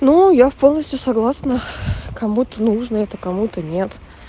ну я в полностью согласна кому-то нужно это кому-то нет